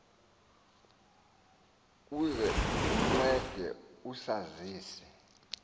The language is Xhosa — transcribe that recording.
uze uncede usazise